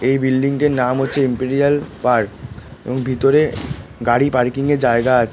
এই বিল্ডিং টির নাম হচ্ছে ইম্পেরিয়াল পার্ক এবং ভিতরে গাড়ি পার্কিং এর জায়গা আছ--